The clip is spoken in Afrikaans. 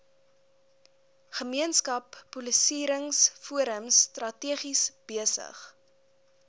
gemeenskapspolisieringsforums strategies besig